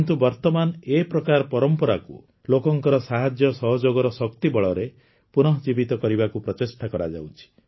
କିନ୍ତୁ ବର୍ତମାନ ଏ ପ୍ରକାର ପରମ୍ପରାକୁ ଲୋକଙ୍କ ସାହାଯ୍ୟ ସହଯୋଗର ଶକ୍ତି ବଳରେ ପୁନଃଜୀବିତ କରିବାକୁ ପ୍ରଚେଷ୍ଟା କରାଯାଉଛି